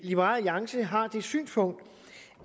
liberal alliance har det synspunkt